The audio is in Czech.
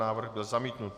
Návrh byl zamítnut.